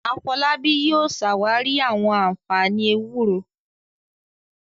Afolábí yóò ṣàwárí àwọn ànfàní ewúro